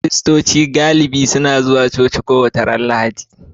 Kiristoci galibi suna zuwa coci kowace Lahadi